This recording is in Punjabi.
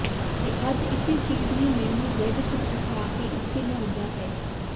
ਤੇ ਅੱਜ ਇਸੇ ਚੀਜ਼ ਨੇ ਮੈਂਨੂ ਬੈਡ ਤੋਂ ਉਠਾ ਕੇ ਇਥੇ ਲਿਆਉਂਦਾ ਹੈਖ਼